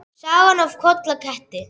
Sagan af Kolla ketti.